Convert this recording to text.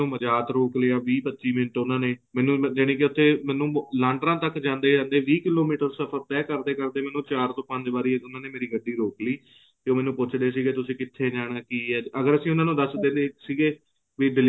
ਫੇਰ ਮੈਨਨ ਮਜਾਤ ਰੋਕ ਲਿਆ ਵੀਹ ਪਚਹਿ ਮਿੰਟ ਉਹਨਾਂ ਨੇ ਮੈਨੂੰ ਯਾਨਿ ਕਿ ਉੱਥੇ ਉਹਨਾਂ ਨੇ ਮੈਨੂੰ ਲਾਂਡਰਾ ਤੱਕ ਜਾਂਦੇ ਜਾਂਦੇ ਵੀਹ ਕਿਲੋਮੀਟਰ ਸਫਰ ਤਹਿ ਕਰਦੇ ਕਰਦੇ ਮੈਨੂੰ ਚਾਰ ਤੋਂ ਪੰਜ ਵਾਰੀ ਉਹਨਾਂ ਨੇ ਮੇਰੀ ਗੱਡੀ ਰੋਕ ਲਈ ਤੇ ਮੈਨੂੰ ਪੁੱਛਦੇ ਸੀਗੇ ਤੁਸੀਂ ਕਿੱਥੇ ਜਾਣਾ ਹੈ ਕ਼ ਹੈ ਅਗਰ ਅਸੀਂ ਉਹਨਾਂ ਨੂੰ ਦੱਸਦੇ ਸੀਗੇ ਵੀ